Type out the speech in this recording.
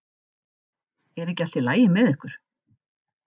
Er ekki allt í lagi með ykkur?